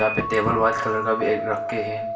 वहां पे table white का भी रख के है।